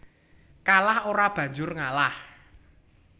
Kalah ora banjur ngalah